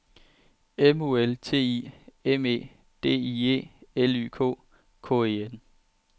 M U L T I M E D I E L Y K K E N